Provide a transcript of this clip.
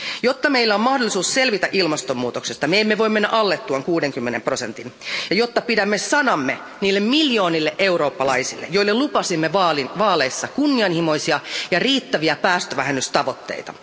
Jotta meillä on mahdollisuus selvitä ilmastonmuutoksesta, me emme voi mennä alle tuon 60 prosentin ja jotta pidämme sanamme niille miljoonille eurooppalaisille, joille lupasimme vaaleissa kunnianhimoisia ja riittäviä päästövähennystavoitteita.